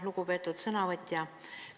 Lugupeetud sõnavõtja!